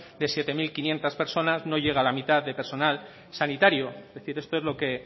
de siete mil quinientos personas no llega a la mitad de personal sanitario es decir esto es lo que